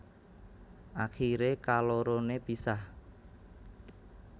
Akiré kaloroné pisah